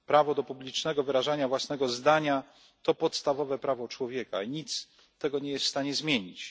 Prawo do publicznego wyrażania własnego zdania to podstawowe prawo człowieka i nic nie jest w stanie tego zmienić.